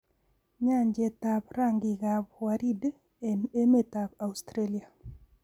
Nyanjetab rangikab waridi eng emetab Australia.